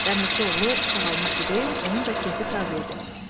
Dəmirçioğlu sağalmışdı deyən onun da keyfi saz idi.